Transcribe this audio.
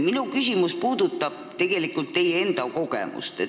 Minu küsimus puudutab teie enda kogemust.